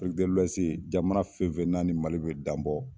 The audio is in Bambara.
afiriki de luwɛsi jamana fɛnfɛ n'a ni mali be dan bɔ